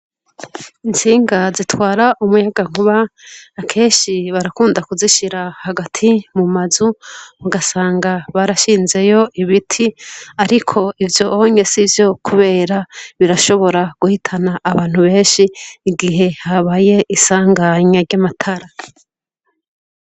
Intsinga zitwara umuyagankuba kenshi barakunda kuzishira hagati mu mazu, ugasanga barashinzeyo ibiti ariko ivyonye sivyo kubera birashobora guhitana abantu benshi igihe habaye isanganya ry'amatara.